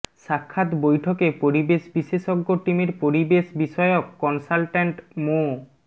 সাক্ষাৎ বৈঠকে পরিবেশ বিশেষজ্ঞ টীমের পরিবেশ বিষয়ক কনসালটেন্ট মো